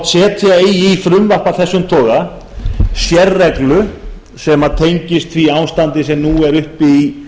hvort setja eigi í frumvarp af þessum toga sérreglu sem tengist því ástandi sem nú er uppi í